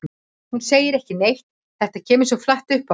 Hún segir ekki neitt, þetta kemur svo flatt upp á hana.